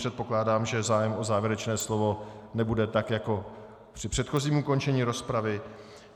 Předpokládám, že zájem o závěrečné slovo nebude tak jako při předchozím ukončení rozpravy.